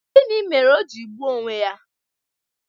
Gịnị mere o ji gbuo onwe ya?